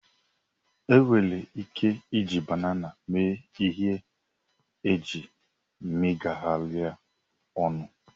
Enwere ike iji banana mee ihe eji megharịa ọnụ